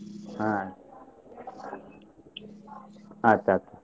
ಅಹ್ ಆಯ್ತ್ ಆಯ್ತ್.